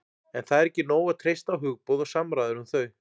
en það er ekki nóg að treysta á hugboð og samræður um þau